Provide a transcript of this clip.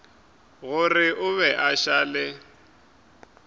gore a be a šale